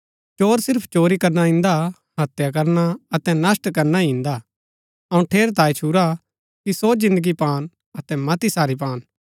चोर सिर्फ चोरी करना इन्दा हत्या करना अतै नष्‍ट करना ही इन्दा अऊँ ठेरैतांये छुरा कि सो जिन्दगी पान अतै मती सारी पान